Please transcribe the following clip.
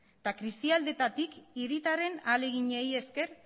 eta krisialdietatik hiritarren ahaleginei esker